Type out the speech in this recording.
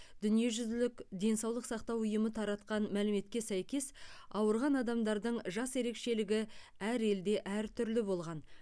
дүниежүзілік денсаулық сақтау ұйымы таратқан мәліметке сәйкес ауырған адамдардың жас ерекшелігі әр елде әртүрлі болған